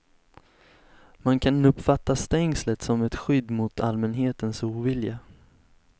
Man kan uppfatta stängslet som ett skydd mot allmänhetens ovilja.